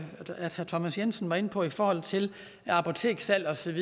herre thomas jensen var inde på i forhold til apoteksudsalg